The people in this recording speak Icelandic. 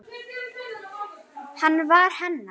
Hann var hennar.